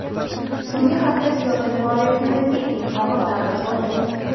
So‘nggi hafta siyosiy faoliyatimdagi eng og‘ir davr bo‘ldi.